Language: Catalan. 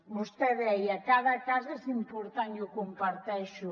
vostè deia cada cas és important i ho comparteixo